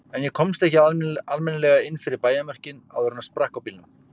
En ég komst ekki almennilega inn fyrir bæjarmörkin áður en sprakk á bílnum.